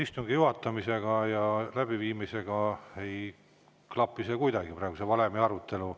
Istungi juhatamise ja läbiviimisega ei klapi praegu kuidagi see valemi arutelu.